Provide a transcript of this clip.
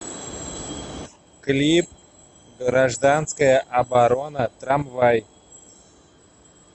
клип гражданская оборона трамвай